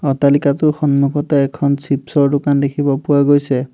অট্টালিকাটোৰ সন্মুখতে এখন চিপ্ছ ৰ দোকান দেখিব পোৱা গৈছে।